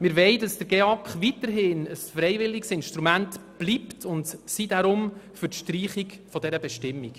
Der GEAK soll weiterhin ein freiwilliges Instrument bleiben, und deshalb sind wir für die Streichung dieser Bestimmung.